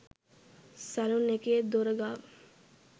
Salon එකේ දොර ගාව.